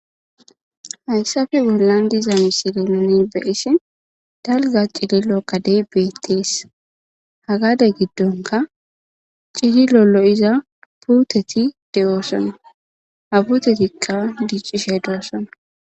hayssafe bollan diza misili nini beyisi dalga cili lo kadey beettees hagade giddonka cihi lolo iza puuteti de7oossona habutetikka diccishe doossona